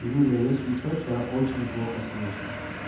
юля если что тебя очень плохо слышно